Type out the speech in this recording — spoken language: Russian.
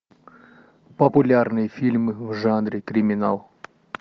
популярный фильм в жанре криминал